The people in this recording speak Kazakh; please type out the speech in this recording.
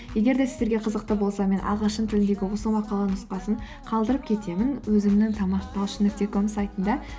егер де сіздерге қызықты болса мен ағылшын тілдегі осы мақаланың нұсқасын қалдырып кетемін өзімнің талшын нүкте ком сайтында